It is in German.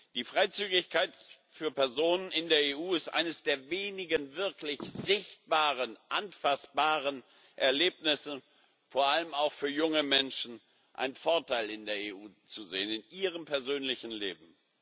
Die Freizügigkeit für Personen in der EU ist eines der wenigen wirklich sichtbaren, anfassbaren Erlebnisse, und vor allem auch für junge Menschen, die in der EU einen Vorteil sehen für ihr persönliches Leben.